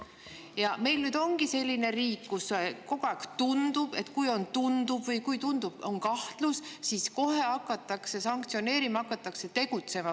" Ja meil nüüd ongi selline riik, kus kogu aeg tundub, et kui tundub või kui on kahtlus, siis kohe hakatakse sanktsioneerima ja tegutsema.